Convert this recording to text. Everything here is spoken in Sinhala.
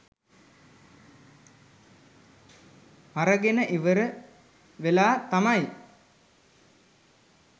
අරගෙන ඉවර වෙලා තමයි